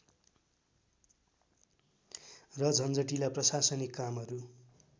र झन्झटिला प्रशासनिक कामहरू